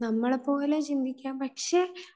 നമ്മളെ പോലെ ചിന്തിക്കാം. പക്ഷേ അവിടെ